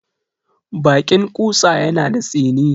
Baƙin ƙutsa yana da tsini.